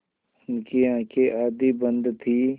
उनकी आँखें आधी बंद थीं